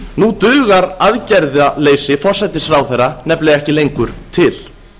nú dugar aðgerðaleysi forsætisráðherra nefnilega ekki lengur til